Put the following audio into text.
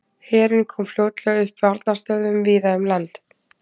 Herinn kom fljótlega upp varnarstöðvum víða um land.